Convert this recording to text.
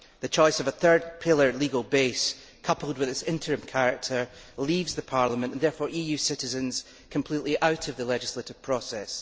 The choice of a third pillar legal base, coupled with its interim character, leaves Parliament and, therefore, EU citizens completely out of the legislative process.